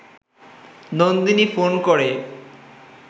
Nandini phone করে